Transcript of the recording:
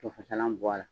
Tofasalan bɔ a la